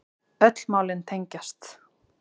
Öll málin tengjast